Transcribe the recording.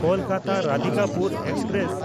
ᱠᱳᱞᱠᱟᱛᱟ–ᱨᱟᱫᱷᱤᱠᱟᱯᱩᱨ express